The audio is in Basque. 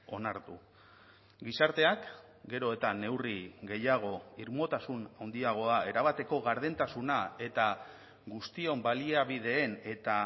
onartu gizarteak gero eta neurri gehiago irmotasun handiagoa erabateko gardentasuna eta guztion baliabideen eta